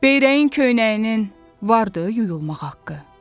Beyrəyin köynəyinin vardı yuyulmaq haqqı.